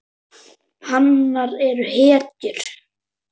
Hanar eru hetjur.